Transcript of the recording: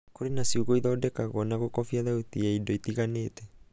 kurĩ na ciugo ithondekagwo na gũkobia thauti ya indo itiganĩte.